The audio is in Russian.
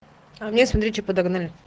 а мне смотри что подогнали